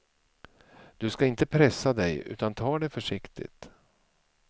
Du ska inte pressa dig, utan ta det försiktigt.